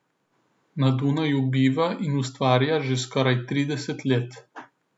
Na Dunaju biva in ustvarja že skoraj trideset let.